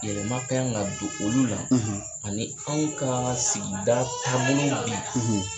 Yɛlɛma kan ka don olu la ani anw ka sigida taabolo bi